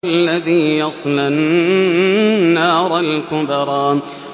الَّذِي يَصْلَى النَّارَ الْكُبْرَىٰ